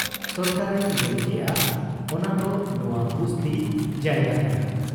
ᱥᱚᱨᱠᱟᱨ ᱮ ᱧᱮᱞ ᱠᱮᱜ ᱟ, ᱚᱱᱟᱫᱚ ᱱᱶᱟ ᱵᱩᱥᱛᱤ ᱡᱟᱭᱜᱟ ᱠᱟᱱᱟ ᱾